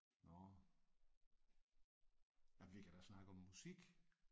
Nåh. Nej vi kan da snakke om musik